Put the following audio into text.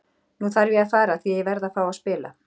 Nú þarf ég að fara því ég verð að fá að spila.